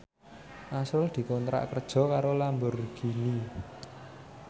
azrul dikontrak kerja karo Lamborghini